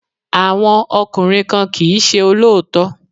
Àwọn ọkùnrin kan kì í ṣe olóòótọ́.